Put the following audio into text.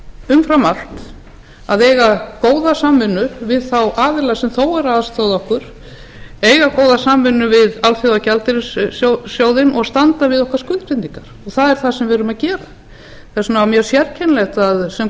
umfram allt að eiga góða samvinnu við þá aðila sem þó eru að aðstoða okkur eiga góða samvinnu við alþjóðagjaldeyrissjóðinn og standa við okkar skuldbindingar og það er það sem við erum að gera þess vegna var mjög sérkennilegt það sem